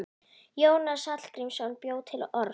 Jónas Hallgrímsson bjó til orð.